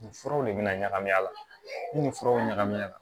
Nin furaw de bɛna ɲagami a la ni nin furaw ɲagamina